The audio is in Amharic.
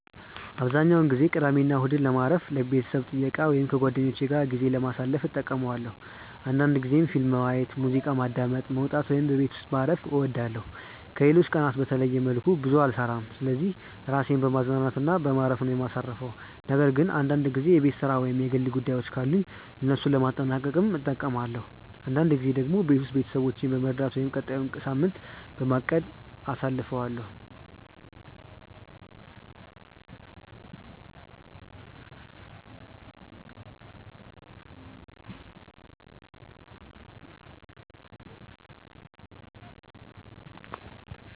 አብዛኛውን ጊዜ ቅዳሜና እሁድን ለማረፍ፣ ቤተሰብ ጥየቃ ወይም ከጓደኞቼ ጋር ጊዜ ለማሳለፍ እጠቀማለሁ አንዳንድ ጊዜም ፊልም ማየት፣ ሙዚቃ ማዳመጥ፣ መውጣት ወይም በቤት ውስጥ ማረፍ እወዳለሁ። ከሌሎች ቀናቶች በተለየ መልኩ ብዙ ስራ አልሰራም ስለዚህ ራሴን በማዝናናት እና በማረፍ ነው ማሳርፈው ነገር ግን አንዳንድ ጊዜ የቤት ስራ ወይም የግል ጉዳዮችን ካሉኝ እነሱን ለማጠናቀቅም እጠቀማለሁ። አንዳንድ ጊዜ ደግሞ ቤት ውስጥ ቤተሰቦቼን በመርዳት ወይም ቀጣዩን ሳምንት በማቀድ ጊዜ አሳልፋለሁ።